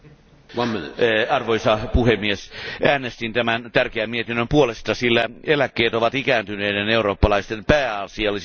Arvoisa puhemies, äänestin tämän tärkeän mietinnön puolesta, sillä eläkkeet ovat ikääntyneiden eurooppalaisten pääasiallisin tulonlähde.